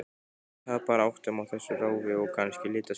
Þú tapar áttum á þessu ráfi, og kannski litaskynjun.